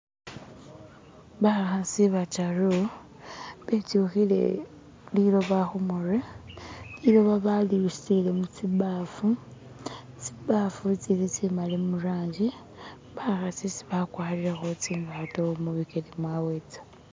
Bakhasi bataru bityukhile liloba khumurwe liloba bali busile mutsibafu tsibafu tsili tsimali murangi bakhasi si bakwarilekho tsingato mubilele mwawe ta